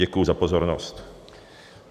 Děkuji za pozornost.